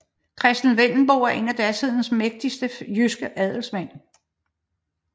Christen Vendelbo var en af datidens mægtigste jyske adelsmænd